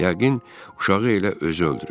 Yəqin uşağı elə özü öldürüb.